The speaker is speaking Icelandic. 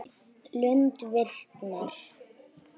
Lund viknar.